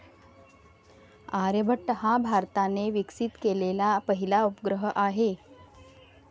आर्यभट्ट हा भारताने विकसित केलेला पहिला उपग्रह आहे.